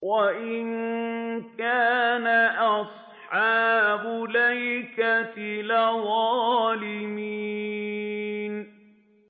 وَإِن كَانَ أَصْحَابُ الْأَيْكَةِ لَظَالِمِينَ